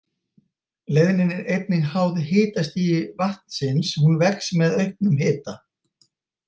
Leiðnin er einnig háð hitastigi vatnsins, hún vex með auknum hita.